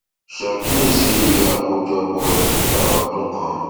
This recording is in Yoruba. ṣàkíyèsí iye àkójọpọ títà ọdún kan